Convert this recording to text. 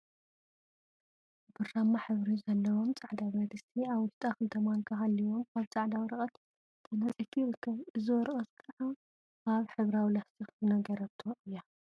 ብራማ ሕብሪ ዘለዎም ፃዕዳ ብረድስቲ አብ ውሽጣ ክልተ ማንካ ሃልይዎ አብ ፃዕዳ ወረቀት ተነፂፉ ይርከብ፡፡ እዚ ወረቀት ከዓ አብ ሕብራዊ ላስቲክ ዝነገሮቶ እያ፡፡